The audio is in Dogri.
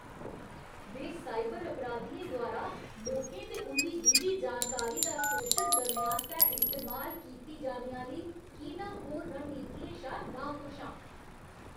में साइबर अपराधियें द्वारा लोकें ते उं'दी निजी जानकारी दा शोशन करने आस्तै इस्तेमाल कीती जाने आह्‌ली कीनाखोर रणनीतियें शा नाखुश आं।